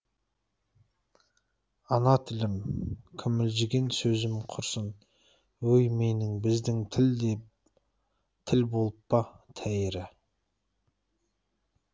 ана тілім күмілжіген сөзім құрсын өй менің біздің тіл де тіл болып па тәйірі